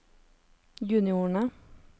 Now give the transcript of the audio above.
juniorene